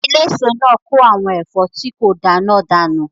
Eléso náà kó àwọn ẹ̀fọ́ tí kò da náà dànù